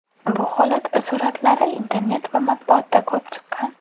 Bu holat suratlari internet va matbuotda ko‘p chiqqan.